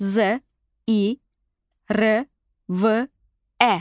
Z, i, r, v, ə.